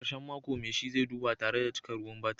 A karshen mako, mai shi zai duba tare da cika ruwan batir